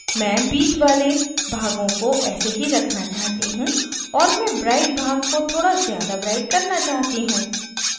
मैं bit वाले भागों को ऐसा ही रखना चाहती हूँ और मैं bright भाग को थोड़ा ज़्यादा bright करना चाहती हूँ